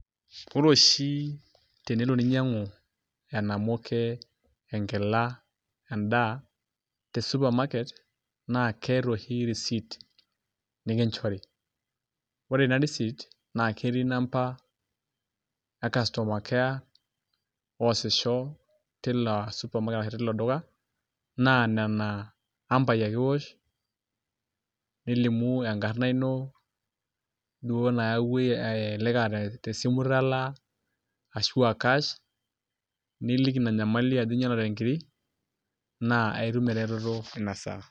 Ore oshi tenelo ninyang'u enamuke, enkila endaa te supermarket, na keeta oshi risit nikinchori. Ore ina risit naa ketii namba e customer care, osisho tina supermarket ashu tilo duka, naa nena ambai ake iwosh, nilimu enkarna ino, duo naewua elelek ah tesimu italaa, ashua cash, niliki ina nyamali ajo inyalate nkiri, naa aitum ereteto inasaa.